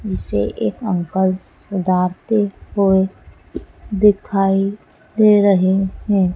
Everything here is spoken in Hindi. जिसे एक अंकल सुधारते हुए दिखाई दे रहे हैं।